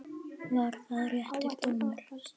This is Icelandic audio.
Var það réttur dómur?